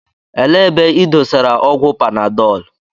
Elee ebe ị dosara ọgwụ panadọlu?